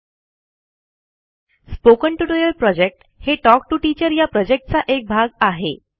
spoken tutorial project हे talk to teacher या प्रॉजेक्टचा एक भाग आहे